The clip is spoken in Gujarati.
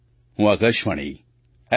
હું આકાશવાણી એફ